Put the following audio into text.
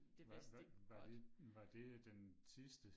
Var var var det var det den sidste?